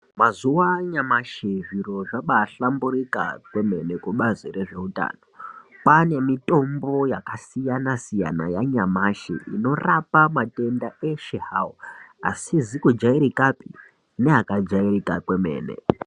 Mazuwa anyamashi zviro zvabaahlamburika kwemene kubazi rezveutano. Kwaane mitombo yakasiyana siyana yanyamashi inorapa matenda eshe zvawo. Asizi kujairikapi neakajairika kwemene.